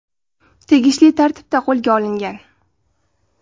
tegishli tartibda qo‘lga olingan.